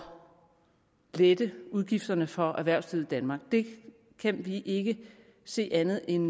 lette udgifterne for erhvervslivet i danmark det kan vi ikke se andet end